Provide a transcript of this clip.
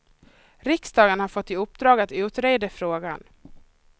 Riksdagen har fått i uppdrag att utreda frågan.